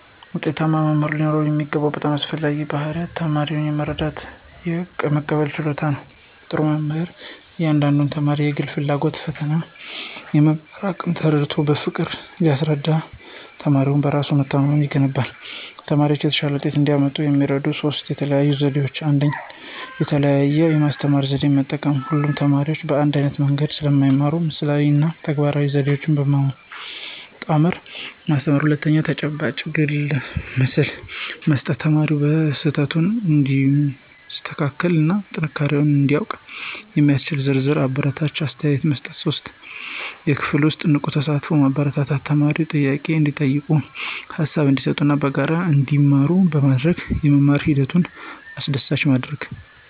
ውጤታማ መምህር ሊኖረው የሚገባው በጣም አስፈላጊው ባሕርይ ተማሪውን የመረዳትና የመቀበል ችሎታ ነው። ጥሩ መምህር የእያንዳንዱን ተማሪ የግል ፍላጎት፣ ፈተናና የመማር አቅም ተረድቶ በፍቅር ሲያስተናግድ ተማሪው በራስ መተማመን ይገነባል። ተማሪዎች የተሻለ ውጤት እንዲያመጡ የሚረዱ ሦስት የተለዩ ዘዴዎች፦ 1. የተለያየ የማስተማሪያ ዘዴ መጠቀም: ሁሉም ተማሪ በአንድ ዓይነት መንገድ ስለማይማር ምስላዊ እና ተግባራዊ ዘዴዎችን በማጣመር ማስተማር። 2. ተጨባጭ ግብረመልስ መስጠት: ተማሪው ስህተቱን እንዲያስተካክልና ጥንካሬውን እንዲያውቅ የሚያስችል ዝርዝርና አበረታች አስተያየት መስጠት። 3. የክፍል ውስጥ ንቁ ተሳትፎን ማበረታታት: ተማሪዎች ጥያቄ እንዲጠይቁ፣ ሃሳብ እንዲሰጡና በጋራ እንዲማሩ በማድረግ የመማር ሂደቱን አስደሳች ማድረግ።